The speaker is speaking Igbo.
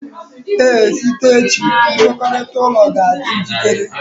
Ee, site echi nkwekọrịta ụlọ ga-adị njikere